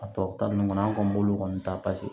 A tɔ ta ninnu kɔni an kɔni b'olu kɔni ta paseke